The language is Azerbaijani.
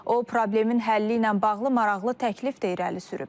O, problemin həlli ilə bağlı maraqlı təklif də irəli sürüb.